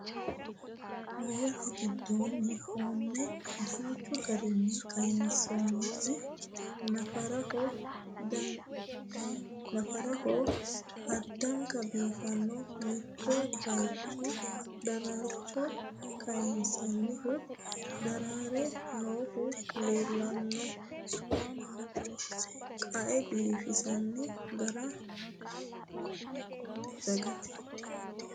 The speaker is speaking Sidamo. Hoowette gidoonni hoomme danchchu garinni kayiinsoonnitti naffaraho addankka biiffanno mitto bayiichcho daaraarcho kayiinsoonihu daraarre noohu leelanno qae biifinsoonni gari daggette